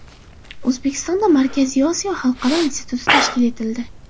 O‘zbekistonda Markaziy Osiyo xalqaro instituti tashkil etildi.